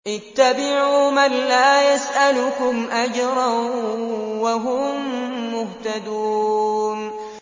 اتَّبِعُوا مَن لَّا يَسْأَلُكُمْ أَجْرًا وَهُم مُّهْتَدُونَ